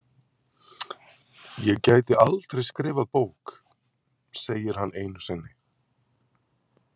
Ég gæti aldrei skrifað bók, segir hann einu sinni.